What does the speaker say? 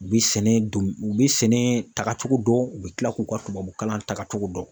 U bɛ sɛnɛ don u bɛ sɛnɛ takacogo dɔn u bɛ kila k'u ka tubabukalan tagacogo dɔn.